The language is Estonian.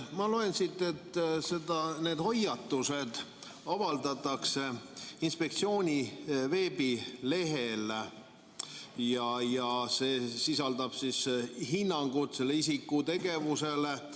Ma loen siit, et need hoiatused avaldatakse inspektsiooni veebilehel ja need sisaldavad hinnangut isiku tegevuse kohta.